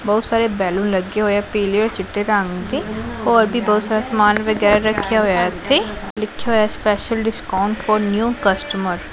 ਬਹੁਤ ਸਾਰੇ ਬੈਲੂਨ ਲੱਗੇ ਹੋਏ ਆ ਪੀਲੇ ਔਰ ਚਿੱਟੇ ਰੰਗ ਦੇ ਔਰ ਵੀ ਬਹੁਤ ਸਾਰਾ ਸਮਾਨ ਰੱਖਿਆ ਹੋਇਆ ਇੱਥੇ ਲਿਖਿਆ ਹੋਇਆ ਐ special discount for new customer.